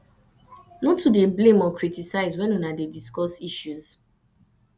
no too dey blame or criticize when una dey discuss issues